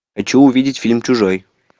хочу увидеть фильм чужой